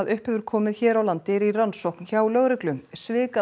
upp hefur komið hér á landi er í rannsókn hjá lögreglu